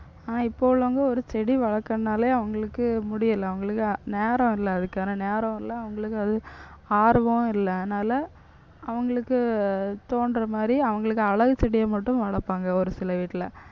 ஆனா இப்ப உள்ளவங்க ஒரு செடி வளர்க்கறதுனாலே அவங்களுக்கு முடியலை. அவங்களுக்கு நேரம் இல்லை அதுக்கான நேரம் இல்லை. அவங்களுக்கு அது ஆர்வமும் இல்லை. அதனால அவங்களுக்கு தோன்ற மாதிரி அவங்களுக்கு அழகு செடியை மட்டும் வளர்ப்பாங்க ஒரு சில வீட்டில